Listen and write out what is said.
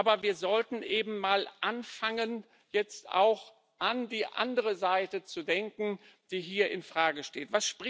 Aber wir sollten anfangen, jetzt auch an die andere Seite zu denken, die hier in Frage steht.